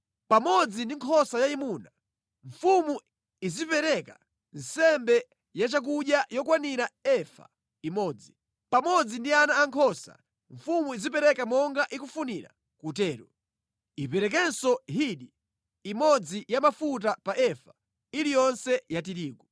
Pamodzi ndi nkhosa yayimuna, mfumu izipereka nsembe ya chakudya yokwanira efa imodzi. Pamodzi ndi ana ankhosa, mfumu izipereka monga ikufunira kutero. Iperekenso hini imodzi ya mafuta pa efa iliyonse ya tirigu.